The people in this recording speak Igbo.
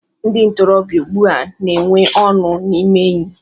Ndị ntorobịa ugbu a n'enwe ọṅụ n'ime enyị.